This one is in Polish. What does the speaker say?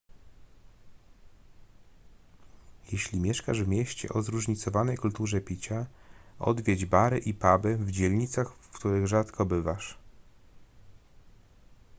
jeśli mieszkasz w mieście o zróżnicowanej kulturze picia odwiedź bary i puby w dzielnicach w których rzadko bywasz